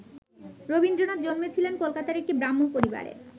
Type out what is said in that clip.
রবীন্দ্রনাথ জন্মেছিলেন কলকাতার একটি ব্রাহ্ম পরিবারে।